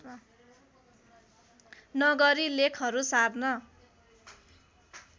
नगरी लेखहरू सार्न